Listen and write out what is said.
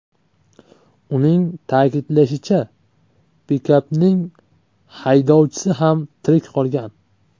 Uning ta’kidlashicha, pikapning haydovchisi ham tirik qolgan.